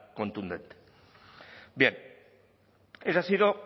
contundente bien esa ha sido